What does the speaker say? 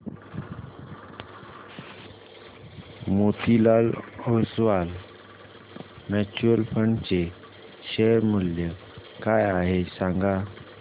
Motilal Oswal mutual fund चे share मूल्य काय आहे सांगा